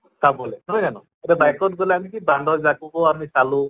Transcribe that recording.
চাবলে নহয় জানো? এতিয়া bike ত গʼলে আমি কি বান্দৰ জাককো আমি চালো